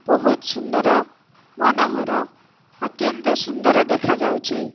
ବହୁତ୍ ସୁନ୍ଦର ମନୋହର ଅତ୍ୟନ୍ତ ସୁନ୍ଦର ଦେଖାଯାଉଛି।